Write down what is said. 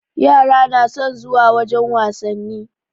Yara na son zuwa wajen wasanni.